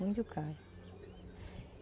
Muito caro.